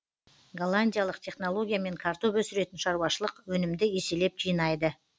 голландиялық технологиямен картоп өсіретін шаруашылық өнімді еселеп жинайды